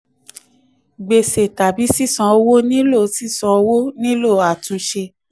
gbèsè tàbí sisan owó nílò sisan owó nílò àtúnṣe.